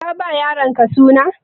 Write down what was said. Ka ba wa yaronka suna?